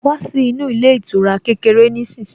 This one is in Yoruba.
Wá sí inú ilé ìtura kékeré nísinsìnyí